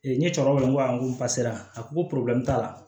n ye cɛkɔrɔba ko pase a ko ko t'a la